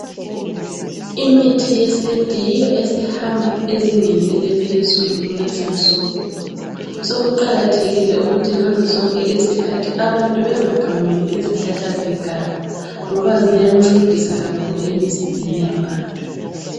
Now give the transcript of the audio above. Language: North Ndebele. Imithi yesintu yiyo esihamba ezingeni eliphezulu kulezinsuku. Sokuqakathekile ukuthi ngazozonke izikhathi abantu bengagamuli izihlahla zeganga ngoba ziyancedisa kakhulu emzimbeni yabantu.